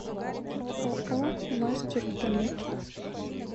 ооо мастерплит